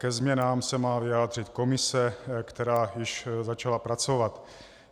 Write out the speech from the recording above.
Ke změnám se má vyjádřit komise, která již začala pracovat.